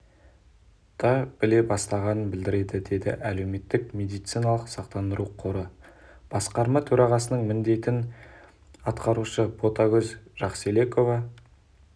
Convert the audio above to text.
да біле бастағанын білдіреді деді әлеуметтік медициналық сақтандыру қоры басқарма төрағасының міндетін атқарушы ботагөз жақселекова